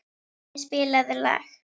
Vopni, spilaðu lag.